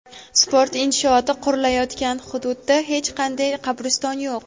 sport inshooti qurilayotgan hududda hech qanday "qabriston yo‘q".